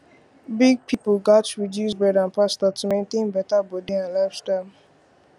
big people gats reduce bread and pasta to maintain better body and lifestyle